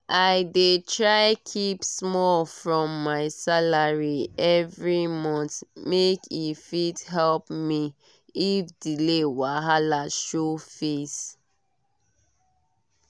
i dey try keep small from my salary every month make e fit help me if delay wahala show face.